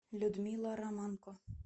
людмила романко